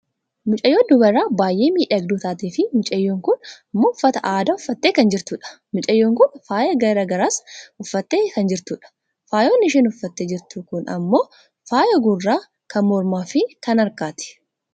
Mucayyoo dubaraa baayyee miidhagduu taateefi mucayyoon kun ammoo uffata aadaa uffattee kan jirtudha. Mucayyoon kun faaya gara garaas uffattee kan jirtudha. Faayonni isheen ufattee jiirtu kun ammoo faaya gurraa, kan mormaafi kan harkaati.